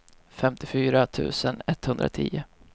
femtiofyra tusen etthundratio